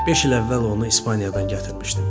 Beş il əvvəl onu İspaniyadan gətirmişdim.